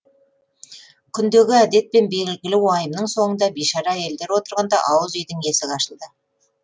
күндегі әдетпен белгілі уайымның соңында бишара әйелдер отырғанда ауыз үйдің есігі ашылды